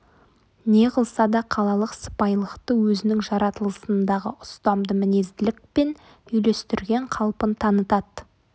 не қылса да қалалық сыпайылықты өзінің жаратылысындағы ұстамды мінезділікпен үйлестірген қалпын танытады